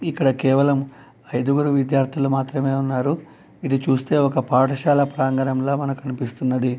ఇక్కడ కేవలం ఐదుగురు విద్యార్థులు మాత్రమే ఉన్నారు. ఇది చూస్తే ఒక పాఠశాల ప్రాంగణంలా మనకు అనిపిస్తున్నది.